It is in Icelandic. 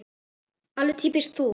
Alveg týpískt þú.